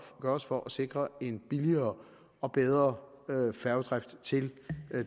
gøres for at sikre en billigere og bedre færgedrift til